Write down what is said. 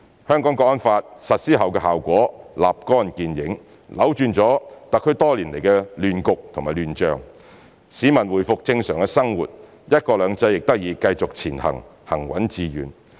《香港國安法》實施後的效果立竿見影，扭轉了特區多年來的亂局和亂象，市民回復正常生活，"一國兩制"亦得以繼續前行，行穩致遠。